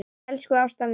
Elsku Ásta mín.